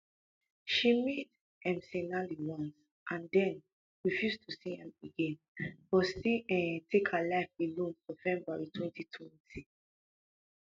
she meet mcinally once and den refuse to see am again but still take um her life alone for february twenty twenty